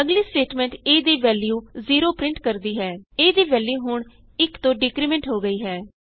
ਅਗਲੀ statement a ਦੀ value o print ਕਰਦੀ ਹੈ A ਦੀ ਵੈਲਯੂ ਹੁਣ 1 ਤੋਂ ਡਿਕਰੀਮੈਂਟ ਹੋ ਗਈ ਹੈ